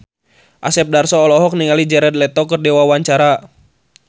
Asep Darso olohok ningali Jared Leto keur diwawancara